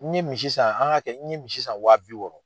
N ye misi san an k'a kɛ n ye misi san wa bi wɔɔrɔ.